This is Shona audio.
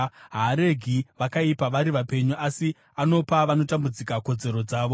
Haaregi vakaipa vari vapenyu, asi anopa vanotambudzika kodzero dzavo.